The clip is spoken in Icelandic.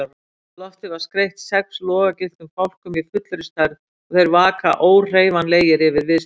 Loftið er skreytt sex logagylltum fálkum í fullri stærð og þeir vaka óhreyfanlegir yfir viðstöddum.